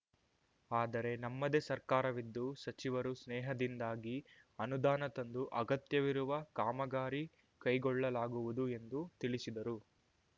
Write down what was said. ಆದರೆ ನಮ್ಮದೇ ಸರ್ಕಾರವಿದ್ದು ಸಚಿವರು ಸ್ನೇಹದಿಂದಾಗಿ ಅನುದಾನ ತಂದು ಅಗತ್ಯವಿರುವ ಕಾಮಗಾರಿ ಕೈಗೊಳ್ಳಲಾಗುವುದು ಎಂದು ತಿಳಿಸಿದರು